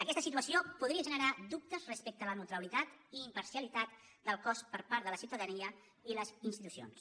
aquesta situació podria generar dubtes respecte a la neutralitat i imparcialitat del cos per part de la ciutadania i les institucions